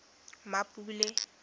mmapule